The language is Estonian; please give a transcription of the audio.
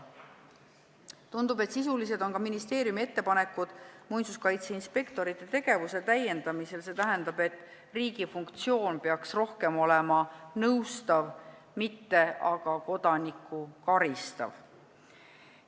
Tundub, et sisulised on ka ministeeriumi ettepanekud muinsuskaitseinspektorite tegevuse täiendamisel, see tähendab, et riigi funktsioon peaks olema rohkem nõustav, mitte aga kodanikku karistav.